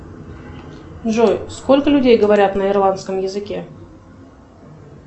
джой сколько людей говорят на ирландском языке